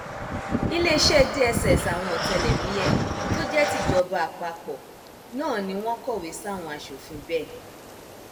iléeṣẹ dss àwọn ọtẹlẹmúyẹ tó jẹ tìjọba àpapọ náà ni wọn kọwé sáwọn aṣòfin bẹẹ